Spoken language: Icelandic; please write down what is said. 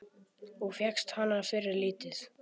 Og fékkst hana fyrir lítið!